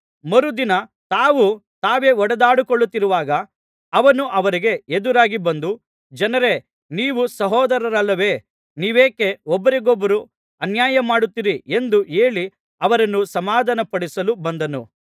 ಮರುದಿನ ತಾವು ತಾವೇ ಹೊಡೆದಾಡಿಕೊಳ್ಳುತ್ತಿರುವಾಗ ಅವನು ಅವರಿಗೆ ಎದುರಾಗಿ ಬಂದು ಜನರೇ ನೀವು ಸಹೋದರರಲ್ಲವೇ ನೀವೇಕೆ ಒಬ್ಬರಿಗೊಬ್ಬರು ಅನ್ಯಾಯ ಮಾಡುತ್ತೀರಿ ಎಂದು ಹೇಳಿ ಅವರನ್ನು ಸಮಾಧಾನ ಪಡಿಸಲು ಬಂದನು